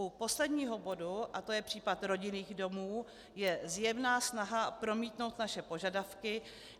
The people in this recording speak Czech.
U posledního bodu, a to je případ rodinných domů, je zjevná snaha promítnout naše požadavky.